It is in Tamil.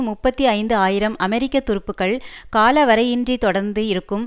முப்பத்தி ஐந்து ஆயிரம் அமெரிக்க துருப்புக்கள் காலவரையின்றி தொடர்ந்து இருக்கும்